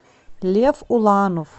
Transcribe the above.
лев уланов